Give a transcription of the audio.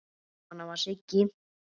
Svona var Siggi.